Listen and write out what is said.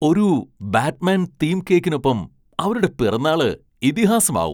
ഒരു Batman theme കേക്കിനൊപ്പം അവരുടെ പിറന്നാള് ഇതിഹാസമാവും!